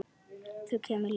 Þú kemur líka!